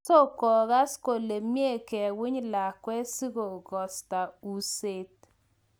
so kogas kole mie kowiny lakwet sigosta useeet